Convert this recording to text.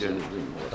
Təbrik edirəm.